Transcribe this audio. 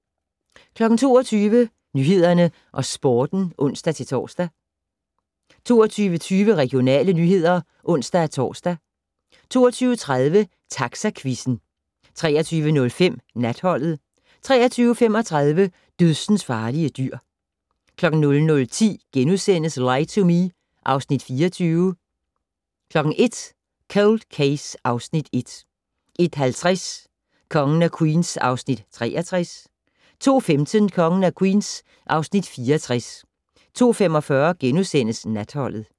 22:00: Nyhederne og Sporten (ons-tor) 22:20: Regionale nyheder (ons-tor) 22:30: Taxaquizzen 23:05: Natholdet 23:35: Dødsensfarlige dyr 00:10: Lie to Me (Afs. 24)* 01:00: Cold Case (Afs. 1) 01:50: Kongen af Queens (Afs. 63) 02:15: Kongen af Queens (Afs. 64) 02:45: Natholdet *